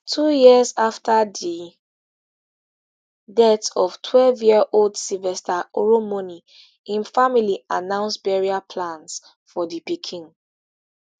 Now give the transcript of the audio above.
two years afa di death of twelveyearold sylvester oromoni im family announce burial plans for di pikin